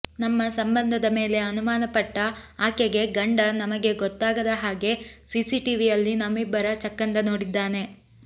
ನಮ್ಮ ಸಂಬಂಧದ ಮೇಲೆ ಅನುಮಾನಪಟ್ಟ ಆಕೆಗೆ ಗಂಡ ನಮಗೆ ಗೊತ್ತಾಗದ ಹಾಗೆ ಸಿಸಿಟಿವಿಯಲ್ಲಿ ನಮ್ಮಿಬ್ಬರ ಚಕ್ಕಂದ ನೋಡಿದ್ದಾನೆ